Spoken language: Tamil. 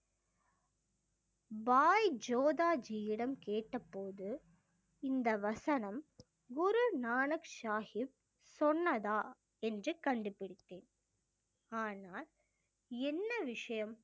பாய் ஜோதா ஜியிடம் கேட்டபோது இந்த வசனம் குரு நானக் சாஹிப் சொன்னதா என்று கண்டுபிடித்தேன் ஆனால் என்ன விஷயம்